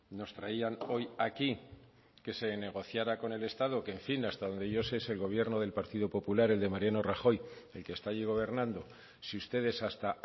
nos traían hoy aquí que se negociara con el estado que en fin hasta donde yo sé es el gobierno del partido popular el de mariano rajoy el que está allí gobernando si ustedes hasta